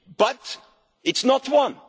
But it's not